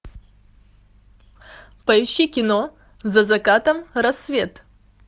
поищи кино за закатом рассвет